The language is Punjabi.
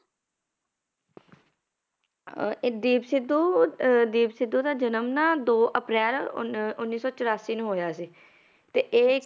ਅਹ ਇਹ ਦੀਪ ਸਿੱਧੂ ਅਹ ਦੀਪ ਸਿੱਧੂ ਦਾ ਜਨਮ ਨਾ ਦੋ ਅਪ੍ਰੈਲ ਉੱਨੀ ਉੱਨੀ ਸੌ ਚੁਰਾਸੀ ਨੂੰ ਹੋਇਆ ਸੀ, ਤੇ ਇਹ